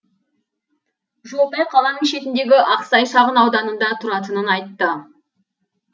жолтай қаланың шетіндегі ақсай шағын ауданында тұратынын айтады